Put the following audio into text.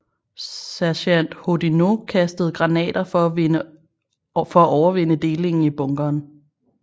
Sergent Hoddinot kastede granater for at overvinde delingen i bunkeren